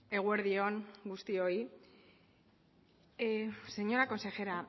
eguerdion guztioi señora consejera